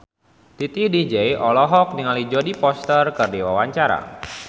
Titi DJ olohok ningali Jodie Foster keur diwawancara